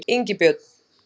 Ingibjörn